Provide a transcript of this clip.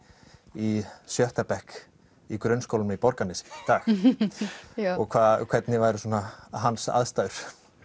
í sjötta bekk í grunnskólanum í Borgarnesi í dag og hvernig væru svona hans aðstæður